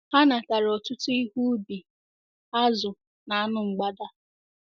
Ha natara ọtụtụ ihe ubi, azụ̀, na anụ mgbada.